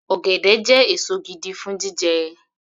Ọ̀gẹ̀dẹ̀ jẹ́ èso gidi fún jíjẹ